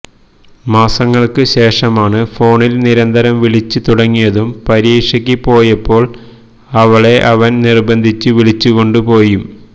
മാസങ്ങള്ക്ക് ശേഷമാണ് ഫോണില് നിരന്തരം വിളിച്ച് തുടങ്ങിയതും പരീക്ഷയ്ക്ക് പോയപ്പോള് അവളെ അവന് നിര്ബന്ധിപ്പിച്ച് വിളിച്ചുകൊണ്ട് പോയും